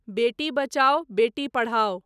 बेटी बचाओ बेटी पढ़ाओ